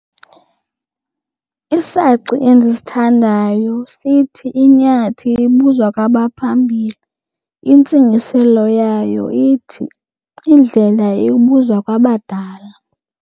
Isaci endisithandayo sithi, inyathi ibuzwa kwabaphambili. Intsingiselo yayo ithi indlela ibuzwa kwabadala.